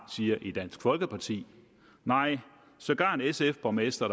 siger i dansk folkeparti nej sågar en sf borgmester